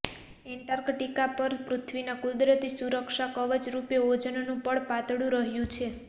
Antarctica પર પૃથ્વીના કુદરતી સુરક્ષા કવચરૂપે ઓઝોનનું પડ પાતળું પડી રહ્યું છે